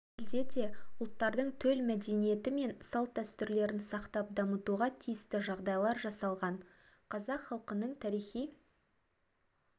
елде де ұлттардың төл мәдениеті мен салт-дәстүрлерін сақтап дамытуға тиісті жағдайлар жасалған қазақ халқының тарихи